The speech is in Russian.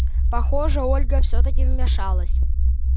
похоже ольга всё-таки вмешалась